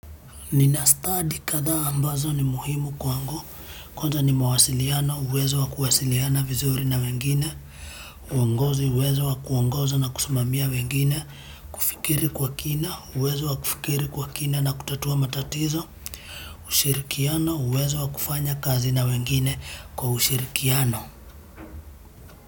Nina stadi kadhaa ambazo ni muhimu kwangu, kwanza ni mawasiliano, uwezo wa kuwasiliana vizuri na wengine, uongozi uwezo wa kuongoza na kusimamia wengine, kufikiri kwa kina, uwezo wa kufikiri kwa kina na kutatua matatizo, ushirikiano, uwezo wa kufanya kazi na wengine kwa ushirikiano.